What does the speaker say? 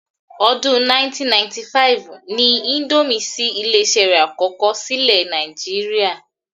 Ọdún 1995 ni índómì ṣí ilé-iṣé rẹ̀ àkọ́kọ́ sílẹ̀ ni Nàìjíríà